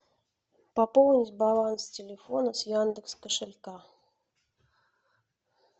пополнить баланс телефона с яндекс кошелька